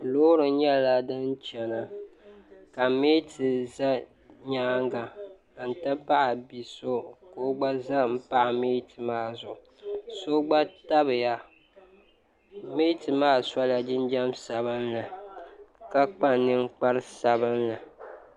Loori nyɛla din chena ka meeti za nyaanga n ti pahi bia so ka o gba za m pahi meeti maa zuɣu so gba tabiya meeti maa sola jinjiɛm sabinlika kpa ninkpari sabinli.